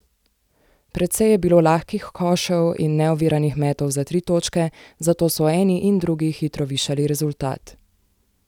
Precej je bilo lahkih košev in neoviranih metov za tri točke, zato so eni in drugi hitro višali rezultat.